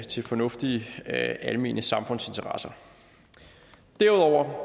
til fornuftige almene samfundsinteresser derudover